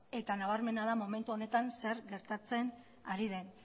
eta nabarmena da momentu honetan zer gertatzen ari den